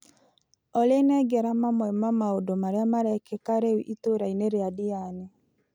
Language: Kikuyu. Olĩ nengera mamwe ma maũndũ marĩa marekĩka rĩu itũra-inĩ rĩa Ndiani.